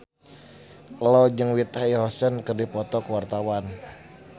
Ello jeung Whitney Houston keur dipoto ku wartawan